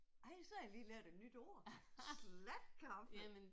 Ej så har jeg lige lært et nyt ord. Slatkaffe